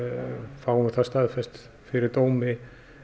fáum það staðfest fyrir dómi